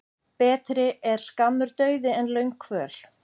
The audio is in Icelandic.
Betri er skammur dauði en löng kvöl.